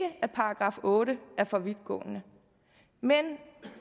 § otte å er for vidtgående men